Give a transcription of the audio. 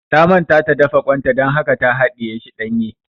Ta manta ta dafa ƙwan ta dan haka ta haɗiye shi ɗanye